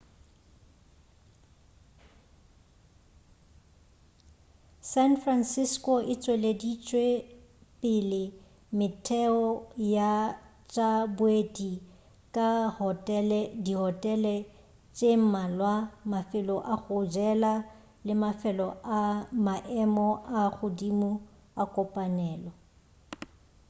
san francisco e tšweleditšepele metheo ya tša boeti ka dihotele tše mmalwa mafelo a go jela le mafelo a maemo a godimo a kopanelo